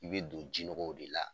I be don jinɔgɔw de la